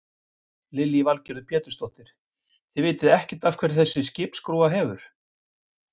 Lillý Valgerður Pétursdóttir: Þið vitið ekkert af hverju þessi skipsskrúfa hefur?